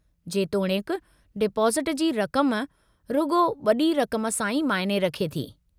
जेतोणीकि डिपाज़िटु जी रक़म रुॻो वॾी रक़म सां ई मायने रखे थी।